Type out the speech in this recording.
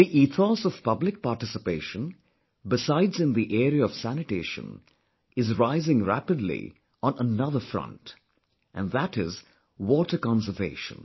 The ethos of public participation, besides in the area of sanitation, is rising rapidly on another front... and that is water conservation